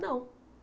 Não.